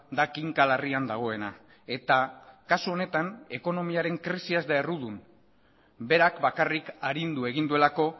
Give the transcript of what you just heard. da kinka larrian dagoena eta kasu honetan ekonomiaren krisia ez da errudun berak bakarrik arindu egin duelako